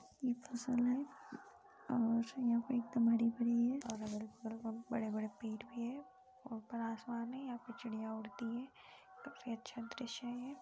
ये फसल हैं और यहाँ पे एक दो बादी बड़ बड़े बड़े पेड़ भी हैं ऊपर आसमान हैं उसमे चिड़ियाँ उड़ती हैं सबसे अच्छा दृश्य हैं ये।